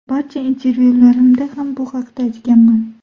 Barcha intervyularimda ham bu haqda aytganman.